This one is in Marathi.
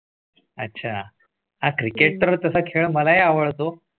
अच्छा हां Cricket तर तसा खेळ मला आवडतो